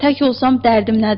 tək olsam dərdim nədir?